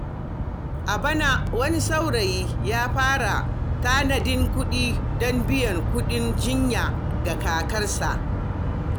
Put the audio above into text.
A bana, wani saurayi ya fara tanadin kuɗi don biyan kuɗin jinya ga kakarsa.